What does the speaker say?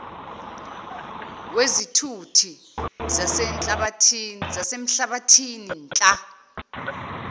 wezithuthi zasemhlabathini nltta